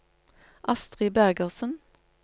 Astri Bergersen